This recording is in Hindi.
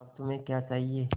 अब तुम्हें क्या चाहिए